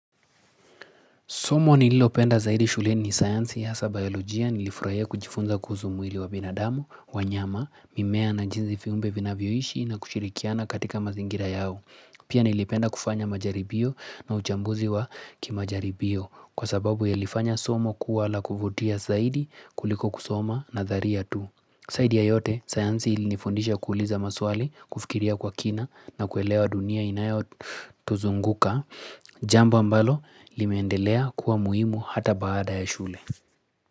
Somo nililopenda zaidi shule ni science hasa biolojia nilifurahia kujifunza kuhusu mwili wa binadamu, wanyama, mimea na jinzi viumbe vinavyoishi na kushirikiana katika mazingira yao. Pia nilipenda kufanya majaribio na uchambuzi wa kimajaribio kwa sababu ya lifanya somo kuwa la kufutia zaidi kuliko kusoma na dharia tu. Zaidi ya yote, sayansi ilinifundisha kuuliza maswali, kufikiria kwa kina na kuelewa dunia inayo tuzunguka, jambo ambalo limeendelea kuwa muhimu hata baada ya shule.